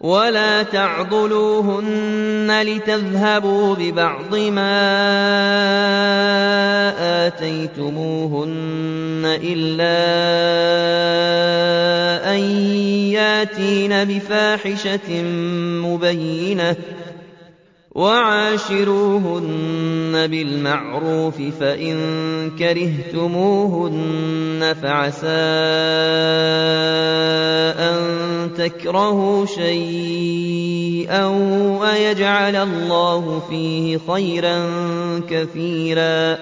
وَلَا تَعْضُلُوهُنَّ لِتَذْهَبُوا بِبَعْضِ مَا آتَيْتُمُوهُنَّ إِلَّا أَن يَأْتِينَ بِفَاحِشَةٍ مُّبَيِّنَةٍ ۚ وَعَاشِرُوهُنَّ بِالْمَعْرُوفِ ۚ فَإِن كَرِهْتُمُوهُنَّ فَعَسَىٰ أَن تَكْرَهُوا شَيْئًا وَيَجْعَلَ اللَّهُ فِيهِ خَيْرًا كَثِيرًا